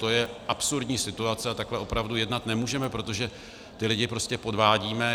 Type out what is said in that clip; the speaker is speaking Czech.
To je absurdní situace a takhle opravdu jednat nemůžeme, protože ty lidi prostě podvádíme!